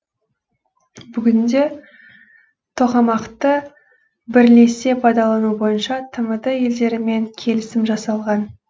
бүгінде тоқамақты бірлесе пайдалану бойынша тмд елдерімен келісім жасалған